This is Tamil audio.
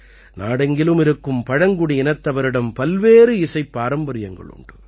நாடெங்கிலும் இருக்கும் பழங்குடியினத்தவரிடம் பல்வேறு இசைப்பாரம்பரியங்கள் உண்டு